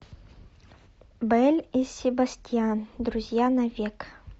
белль и себастьян друзья навек